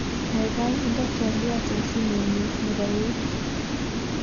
Kaikai inde twaliot eng simenyu nebo eut.